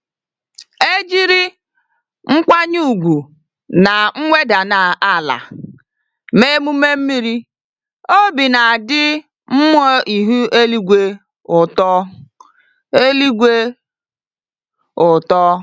Ejírí nkwanye ùgwù na mweda n'ala mee emume mmiri, obi nadi mmụọ ihu eluigwe ụtọ eluigwe ụtọ